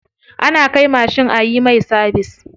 Ana kai mashin ayi mai sabis.